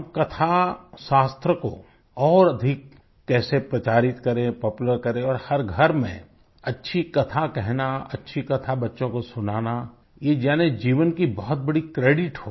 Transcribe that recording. हम कथाशास्त्र को और अधिक कैसे प्रचारित करें पॉपुलर करें और हर घर में अच्छी कथा कहना अच्छी कथा बच्चों को सुनाना ये जनजीवन की बहुत बड़ी क्रेडिट हो